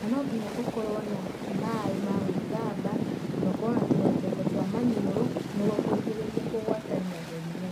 na no nginya ũkorwo na maaĩ ma gwĩthamba na ũkorwo na tũrembeko twa maniũru nĩguo kũrigĩrĩria kũgwatania mĩrimũ.